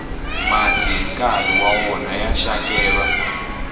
masi hi nkarhi wa wona ya xakeva